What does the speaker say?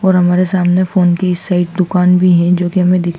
और हमारे सामने फोन की इस साइड दुकान भी है जो कि हमें दिख--